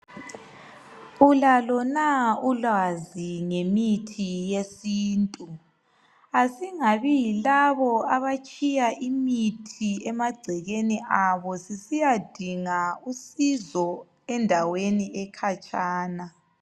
Ulalo na ulwazi ngemithi yesintu, asingabi yilabo abatshiya imithi emagcekeni abo sisiyadinga usizo endaweni ekhatshana.